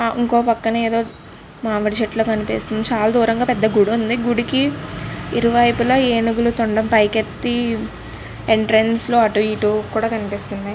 ఇంకొక పక్కనే ఏదో మామిడి చెట్లు కనిపిస్తుంది. చాలా దూరం ఒక గుడి ఉంది. గుడికి ఇర్వైవైపులా ఏనుగులు తొండం పైకి ఎత్తి ఎంట్రన్స్ లో అటు ఇటు కూడా కనిపిస్తున్నాయి.